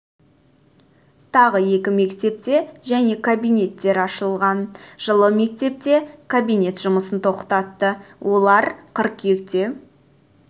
тағы екі мектепте және кабинеттер ашылған жылы мектепте жылы мектепте кабинет жұмысын тоқтатты олар қыркүйекте